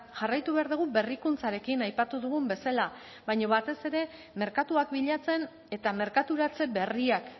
jarraitu behar dugu berrikuntzarekin aipatu dugun bezala baina batez ere merkatuak bilatzen eta merkaturatze berriak